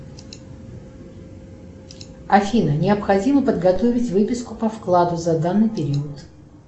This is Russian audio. афина необходимо подготовить выписку по вкладу за данный период